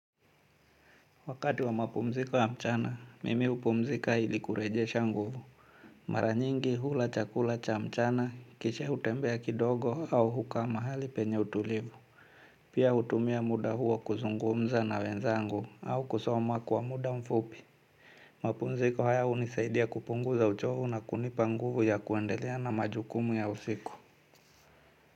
Wakati wa mapumziko ya mchana, mimi hupumzika ili kurejesha nguvu. Maranyingi hula chakula cha mchana, kisha hutembea kidogo au hukaa mahali penye utulivu. Pia hutumia muda huo kuzungumza na wenzangu au kusoma kwa muda mfupi. Mapumziko haya hunisaidia kupunguza uchovu na kunipa nguvu ya kuendelea na majukumu ya usiku.